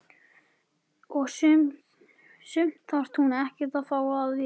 Og sumt þarf hún ekkert að fá að vita.